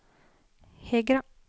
Hegra